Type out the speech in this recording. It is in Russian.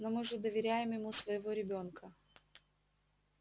но мы же доверяем ему своего ребёнка